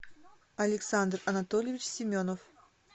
александр анатольевич семенов